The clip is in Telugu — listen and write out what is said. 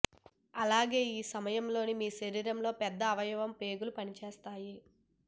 అలాగే ఈ సమయంలో మీ శరీరంలోని పెద్ద అవయవం పేగులు పనిచేస్తాయి